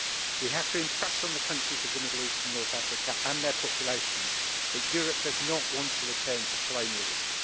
We have to impress on the countries of the Middle East and North Africa, and their populations, that Europe does not want to return to colonialism.